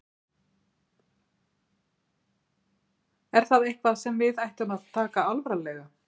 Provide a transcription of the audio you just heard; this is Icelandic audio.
Er það eitthvað sem við ættum að taka alvarlega?